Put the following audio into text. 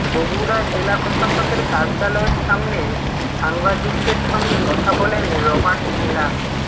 বগুড়া জেলা প্রশাসকের কার্যালয়ের সামনে সাংবাদিকদের সঙ্গে কথা বলেন রবার্ট মিলার